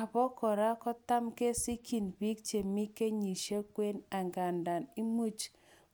Obo kora kotam kesikyin biik chemi kenyisiekab kwen, angandan imuch